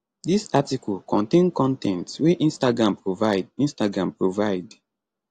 dis article contain con ten t wey instagram provide instagram provide